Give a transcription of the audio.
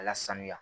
A lasanuya